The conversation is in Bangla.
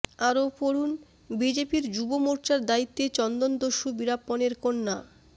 আরও পড়ুন বিজেপির যুব মোর্চার দায়িত্বে চন্দনদস্যু বীরাপ্পনের কন্যা